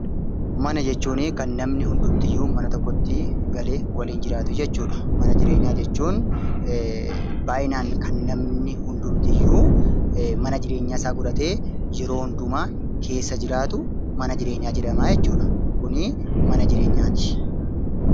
Mana jechuun kan namoonni hundumtuu mana tokkotti galee waliin jiraatan jechuudha. Mana jireenyaa jechuun baay'inaan kan namoonni hundumtuu mana jireenyaa isaa godhatee keessa jiraatu mana jireenyaa jedhama. Kun mana jireenyaati.